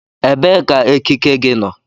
Ebee ka ekike gị nọ?